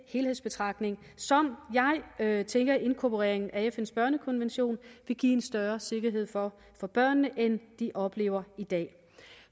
helhedsbetragtning som jeg tænker inkorporeringen af fns børnekonvention vil give en større sikkerhed for for børnene end de oplever i dag